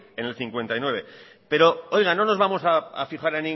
en el cincuenta y nueve pero no nos vamos a fijar